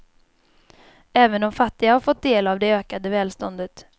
Även de fattiga har fått del av det ökade välståndet.